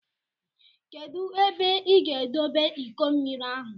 Kedụ ebe ị ga-edobe iko mmiri ahụ?